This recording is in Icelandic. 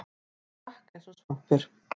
Hann drakk eins og svampur.